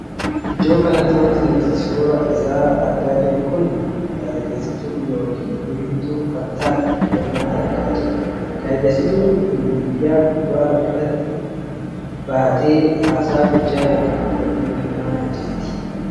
Iddoo kanatti wanti nuti amma suuraa isaa argaa jirru kun gaazixeessituu ykn oduu himtuu kan taatee iddoo kanatti argaa jirra. gaazixeessituun miidiyaa gubbaa irrattibm irratti baatee haasaa gochaa ykn oduu himaa kan jirtudha.